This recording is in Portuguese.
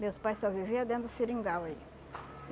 Meus pais só viviam dentro do seringal aí.